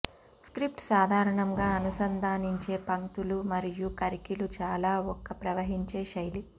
script సాధారణంగా అనుసంధానించే పంక్తులు మరియు కర్కిలు చాలా ఒక ప్రవహించే శైలి